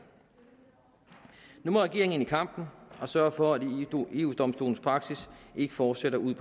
nu må regeringen ind i kampen og sørge for at eu domstolens praksis ikke fortsætter ud